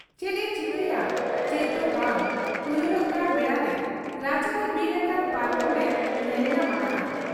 ᱪᱮᱫ ᱮ ᱪᱤᱠᱟᱹᱭᱟ ᱪᱮᱫ ᱫᱚ ᱵᱟᱝ ᱩᱭᱦᱟᱹᱨᱚᱜ ᱠᱟᱱ ᱵᱮᱲᱟᱨᱮ ᱨᱟᱪᱟ ᱨᱮ ᱵᱤᱞ ᱟᱠᱟᱱ ᱯᱟᱨᱠᱚᱢ ᱮ ᱧᱮᱞ ᱧᱟᱢ ᱟᱠᱟᱜ ᱟ ᱾